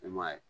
E m'a ye